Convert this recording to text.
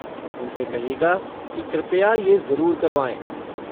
उनसे कहिएगा कि कृपया ये ज़रूर करवाएँ।